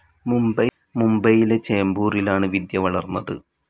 മുംബൈയിലെ ചേംബൂറിലാണ് വിദ്യ വളർന്നത്.